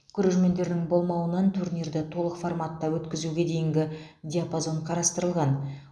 көрермендердің болмауынан турнирді толық форматта өткізуге дейінгі диапазон қарастырылған